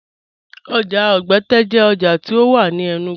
Oja Ogbẹte jẹ oja ti o wà ní Enugu.